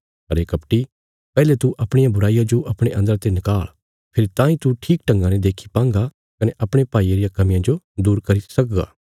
अरे कपटी पैहले तू अपणिया बुराईया जो अपणे अन्दरा ते निकाल़ फेरी तांई तू ठीक ढंगा ने देक्खी पांगा कने अपणे भाईये रिया कमियां जो दूर करी सकगा